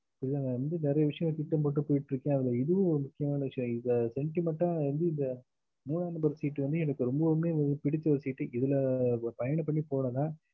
இதுல வந்து நெறையா விஷயம் திட்டம் போட்டு போய்கிட்டு இருக்கா அதுல இதுவும் ஒரு முக்கியமான விஷயம் இத sentiment ஆஹ் வந்து இத மூனா number seat டு வந்து எனக்கு ரொம்பவும்மே பிடிச்ச seat இதுல பயணம் பண்ணி போறதுல